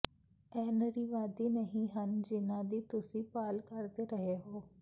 ਇਹ ਨਾਰੀਵਾਦੀ ਨਹੀਂ ਹਨ ਜਿਨ੍ਹਾਂ ਦੀ ਤੁਸੀਂ ਭਾਲ ਕਰ ਰਹੇ ਹੋ